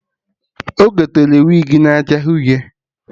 Ọ gotere wigi na acha Uhie